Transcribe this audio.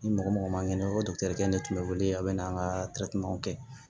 Ni mɔgɔ mɔgɔ ma kɛnɛ ne tun bɛ wele a bɛ na an ka kɛ